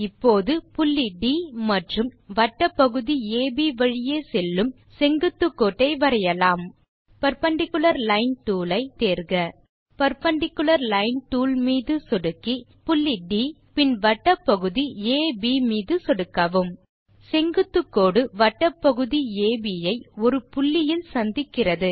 இப்போது புள்ளி ட் மற்றும் வட்டப் பகுதி அப் வழியே செல்லும் செங்குத்து கோட்டை வரையலாம் பெர்பெண்டிக்குலர் லைன் டூல் ஐ டூல் பார் இலிருந்து தேர்க பெர்பெண்டிக்குலர் லைன் டூல் மீது சொடுக்கி பின் புள்ளி ட் மற்றும் பின் வட்டப் பகுதி அப் மீது சொடுக்கவும் செங்குத்துக் கோடு வட்டப் பகுதி அப் ஐ ஒருபுள்ளியில் சந்திக்கிறது